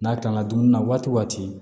N'a kan ka dumuni na waati